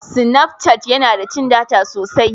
Sinaf cat yana da cin data sosai.